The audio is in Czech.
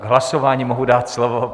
K hlasování mohu dát slovo.